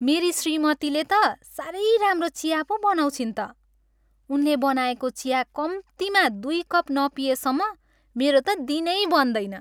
मेरी श्रीमतीले त साह्रै राम्रो चिया पो बनाउँछिन् त। उनले बनाएको चिया कम्तीमा दुई कप नपिएसम्म मेरो त दिनै बन्दैन।